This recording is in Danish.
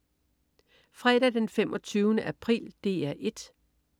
Fredag den 25. april - DR 1: